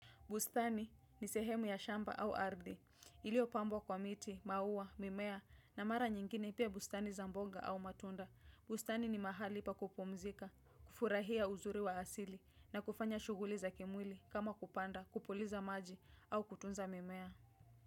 Bustani ni sehemu ya shamba au ardhi. Ilio pambwa kwa miti, maua, mimea na mara nyingine pia bustani za mboga au matunda. Bustani ni mahali pa kupumzika, kufurahia uzuri wa asili na kufanya shuguli za kimwili kama kupanda, kupuliza maji au kutunza mimea.